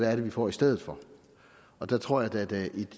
er det vi får i stedet for og der tror jeg da at der i